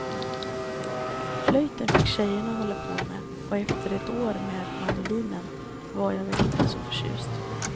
Flöjten fick tjejerna hålla på med och efter ett år med mandolinen var jag väl inte så förtjust.